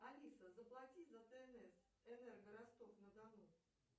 алиса заплати за тнс энерго ростов на дону